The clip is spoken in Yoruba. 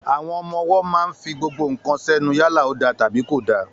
Àwọn ọmọ wó mà ń fí gbogbo kán sẹnu, yàlá ò dà tàbí kò dà.